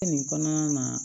Nin kɔnɔna na